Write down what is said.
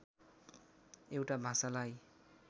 एउटा भाषालाई